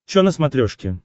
чо на смотрешке